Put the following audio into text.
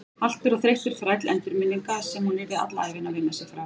Haltur og þreyttur þræll endurminninga sem hún yrði alla ævina að vinna sig frá.